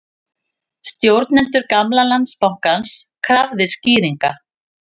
Stjórnendur gamla Landsbankans krafðir skýringa